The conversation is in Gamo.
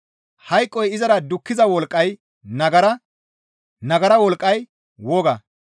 Hayqoy izara dukkiza wolqqay nagara; nagara wolqqay woga.